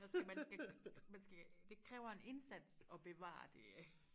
altså man skal man skal det kræver en indsats og bevare det